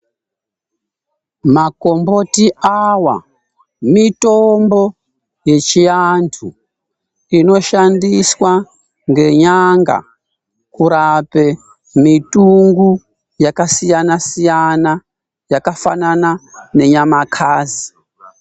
Makomboti awa ,mitombo yechiantu inoshandiswa ngenyanga kurape mitungu yakasiyana-siyana, yakafanana nenyamakasi.